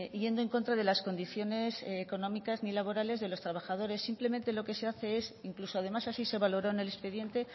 yendo en contra de las condiciones económicas ni laborales de los trabajadores simplemente lo que se hace es incluso además así se valoró en el expediente